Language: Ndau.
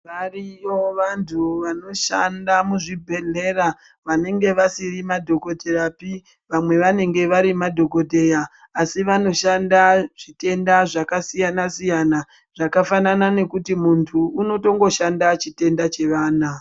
Variyo vantu vanoshanda muzvibhedhlera vanenge vasiri madhokodheyapi. Vamwe vanenge vari madhokodheya asi vanoshanda zvitenda zvakasiyana-siyana zvakafanana nekuti muntu unotongoshanda chitenda chevana.